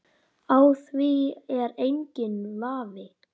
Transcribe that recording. Á því er enginn vafi.